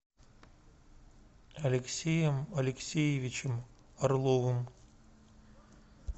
алексеем алексеевичем орловым